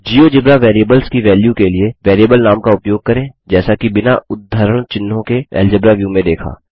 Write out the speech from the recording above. GeoGebra variables की value के लिए बेरिएबल नाम का उपयोग करें जैसा कि बिना उद्धरण चिन्हों के एल्जेब्रा व्यू में देखा